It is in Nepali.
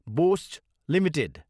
Bosch Ltd